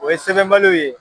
O ye sɛbɛnbaliw ye.